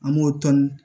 An b'o tɔni